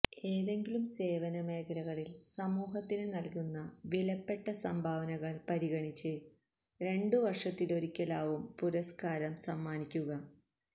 ഏതെങ്കിലും സേവന മേഖലകളില് സമൂഹത്തിനു നല്കുന്ന വിലപ്പെട്ട സംഭാവനകള് പരിഗണിച്ച് രണ്ടു വര്ഷത്തിലൊരിക്കലാവും പുരസ്കാരം സമ്മാനിക്കുക